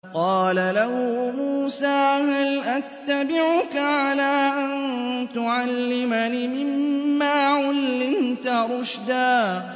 قَالَ لَهُ مُوسَىٰ هَلْ أَتَّبِعُكَ عَلَىٰ أَن تُعَلِّمَنِ مِمَّا عُلِّمْتَ رُشْدًا